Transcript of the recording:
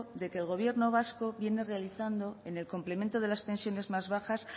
de que el gobierno vasco viene realizando en el complemento de las pensiones más bajas